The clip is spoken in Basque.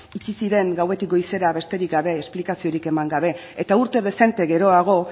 itxi ziren gauetik goizera besterik gabe esplikaziorik eman gabe eta urte dezente geroago